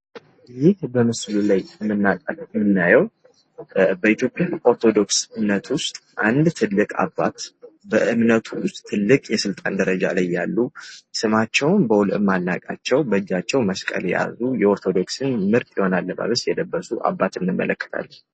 ይህ በምስሉ ላይ ምናየው በኢትዮጵያ ኦርቶዶክስ እምነት ውስጥ አንድ ትልቅ አባት በእምነቱ ውስጥ ትልቅ የስልጣን ደረጃ ላይ ያሉ ስማቸውን በውል የማናቃቸው በእጃቸው መስቀል የያዙ የኦርቶዶክስን ምርጥ የሆነ አለባበስን የለበሱ አባት እንመለከታለን ።